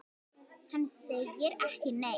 Hann segir ekki neitt.